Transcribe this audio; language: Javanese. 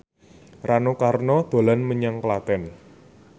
Rano Karno dolan menyang Klaten